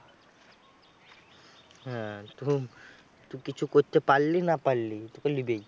হ্যাঁ তু তু কিছু করতে পারলি না পারলি? তোকে লিবেই।